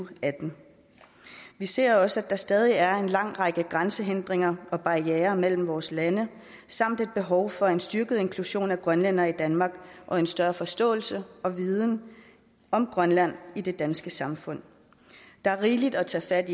og atten vi ser også at der stadig er en lang række grænsehindringer og barrierer imellem vores lande samt et behov for en styrket inklusion af grønlændere i danmark og en større forståelse af og viden om grønland i det danske samfund der er rigeligt at tage fat